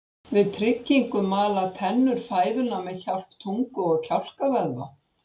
Við tyggingu mala tennur fæðuna með hjálp tungu og kjálkavöðva.